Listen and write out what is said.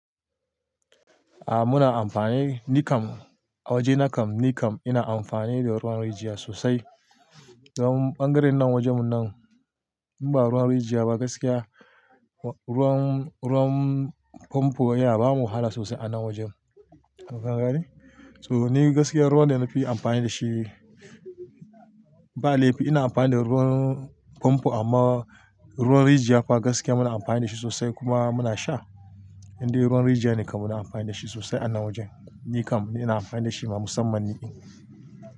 A muna amfani, ni kam a waje na kam, ni kam ina amfani da ruwan rijiya sosai. Don ɓangaren nan wajen mu nan, in ba ruwan rijiya ba gaskiya. Ruwan, ruwan pompo ya ba mu wahala sosai a nan wajen. To ka gani to ni gaskiya ruwan ne na fi amfani da shi. Ba laifi ina amfani da ruwan pompo amma ruwan rijiya fa gaskiya muna amfani da shi sosai kuma muna sha. Indai ruwan rijiya ne kam muna amfani da shi sosai a nan wajen. Ni kam ina amfani da shi ma musamman ni ɗin.